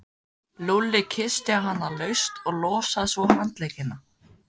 Lúlli kyssti hana laust og losaði svo handleggina.